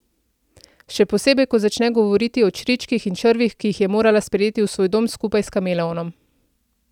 Še posebej ko začne govoriti o čričkih in črvih, ki jih je morala sprejeti v svoj dom skupaj s kameleonom.